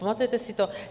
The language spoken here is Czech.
Pamatujete si to?